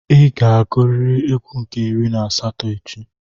Ị ga-agụrịrị égwú nke iri na asatọ echi.